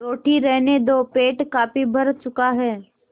रोटी रहने दो पेट काफी भर चुका है